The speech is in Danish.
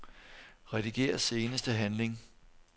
Rediger seneste handling.